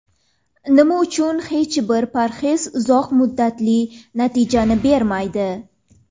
Nima uchun hech bir parhez uzoq muddatli natijani bermaydi?.